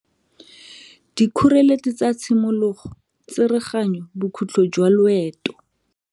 Dikgoreletsi tsa tshimologo Tsereganyo Bokhutlo jwa loeto.